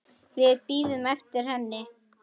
Við bíðum eftir henni